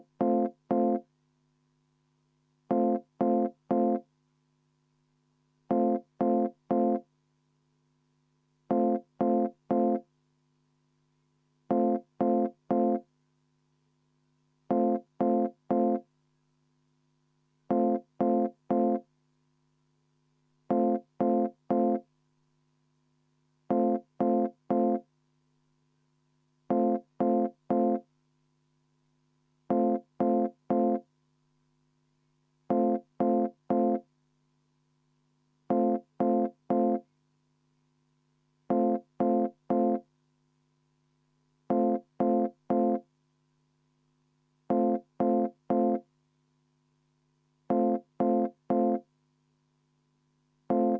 V a h e a e g